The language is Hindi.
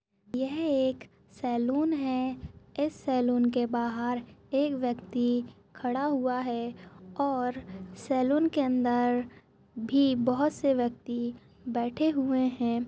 यह एक सैलून है इस सालों के बाहर एक व्यक्ति खड़ा हुआ है और सैलून के अंदर भी बहोत से व्यक्ति बैठे हुए हैं।